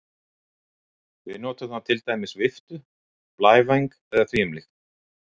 Við notum þá til dæmis viftu, blævæng eða því um líkt.